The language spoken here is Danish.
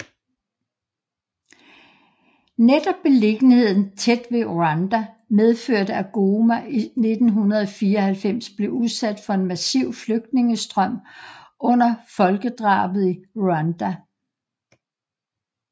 Netop beliggenheden tæt ved Rwanda medførte at Goma i 1994 blev udsat for en massiv flygtningestrøm under folkedrabet i Rwanda